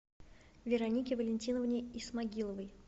веронике валентиновне исмагиловой